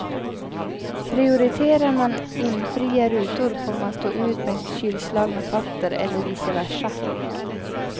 Prioriterar man imfria rutor får man stå ut med kylslagna fötter eller vice versa.